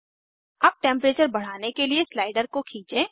अब टेम्परेचर बढ़ाने के लिए स्लाइडर को खींचें